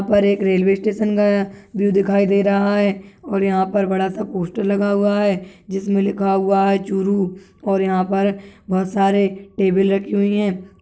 यहाँ पर एक रेलवे स्टेश का व्यू दिखाय दे रहा है और यहाँ पर बड़ा सा पोस्टर लगा हुवा है जिस पर लिखा हुवा है चुरू और यहाँ पर बहुत सारे टेबल रखी हुयी हैं।